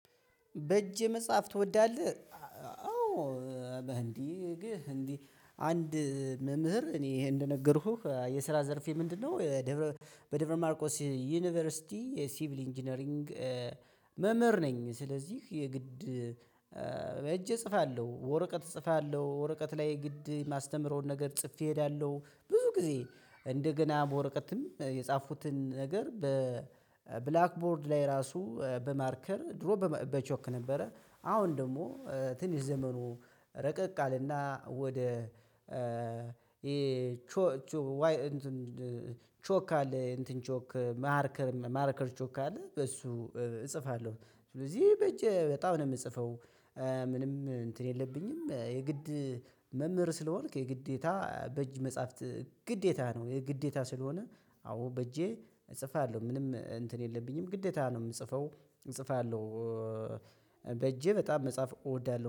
በእጅ መጽሐፍ ትወዳለህ? አዎ እንዲህ እንዲህ አንድ መምህር እኔ ይሄን እንደነገርኩህ የስራ ዘርፌ ምንድነው ደብረ በደብረ ማርቆስ ዩኒቨርሲቲ የሲቪል ኢንጂነሪንግ መምህር ነኝ። ስለዚህ የግድ በእጄ እጽፋለሁ ወረቀት እጽፋለሁ ወረቀት ላይ ግድ የማስተምረውን ነገር ጽፌ እሄዳለሁ ብዙ ጊዜ እንደገና በወረቀትም የጻፉትን ነገር በብላክ ቦርድ ላይ ራሱ በማርከር ድሮ በቾክ ነበረ አሁን ደግሞ ትንሽ ዘመኑ ረቀቅ አለና ወደ ቾክ አለ እንትን ቾክ ማርከር ማርከር ቾክ አለ በሱ እጽፋለሁ ስለዚህ በእጅ በጣም ነው ምጽፈው። ምንም እንትን የለብኝም። የግድ መምህር ስለሆንክ የግዴታ በእጅ መጽሐፍት ግዴታ ነው። የግዴታ ስለሆነ አዎ በእጄ እጽፋለሁ ምንም እንትን የለብኝም ግዴታ ነው። ምጽፈው እጽፋለሁ። በእጄ በጣም መጽሐፍ እወዳለሁ